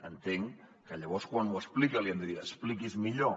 entenc que llavors quan ho explica li hem de dir expliqui’s millor